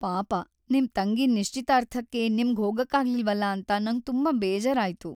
ಪಾಪ.. ನಿಮ್ ತಂಗಿ ನಿಶ್ಚಿತಾರ್ಥಕ್ಕೇ ನಿಮ್ಗ್ ಹೋಗಕ್ಕಾಗ್ಲಿಲ್ವಲ ಅಂತ ನಂಗ್ ತುಂಬಾ ಬೇಜಾರಾಯ್ತು.